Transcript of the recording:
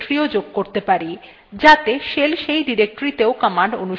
আমাদের নিজস্ব directory যোগ করতে terminal লিখুন